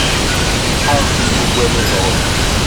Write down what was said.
wọn n fi gbogbo ẹnu sọrọ